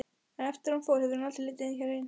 Eftir að hún fór hefur hann aldrei litið hér inn.